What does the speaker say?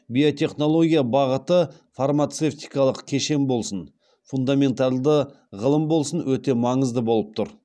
биотехнология бағыты фармацевтикалық кешен болсын фундаменталды ғылым болсын өте маңызды болып тұр